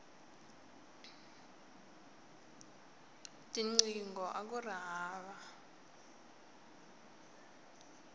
tinqingho akuri hava